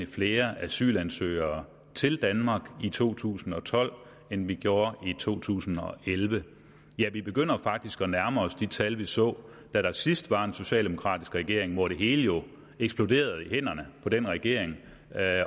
flere asylansøgere til danmark i to tusind og tolv end vi gjorde i to tusind og elleve ja vi begynder faktisk at nærme os de tal vi så da der sidst var en socialdemokratisk regering hvor det hele jo eksploderede i hænderne på den regering